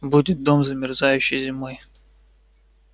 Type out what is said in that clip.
будет дом замерзающий зимой